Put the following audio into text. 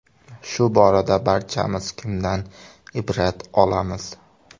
Shu borada barchamiz kimdan ibrat olamiz?